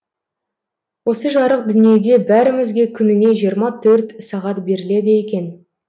осы жарық дүниеде бәрімізге күніне жиырма төрт сағат беріледі екен